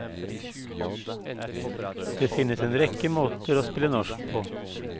Det finnes en rekke måter å spille norsk på.